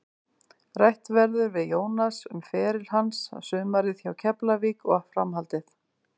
Rætt verður við Jónas um feril hans, sumarið hjá Keflavík og framhaldið.